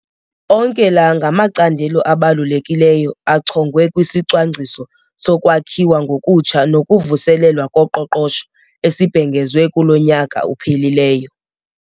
Onke la ngamacandelo abalulekileyo achongwe kwisiCwangciso soKwakhiwa ngokutsha nokuVuselelwa koQoqosho esibhengezwe kulo nyaka uphelileyo.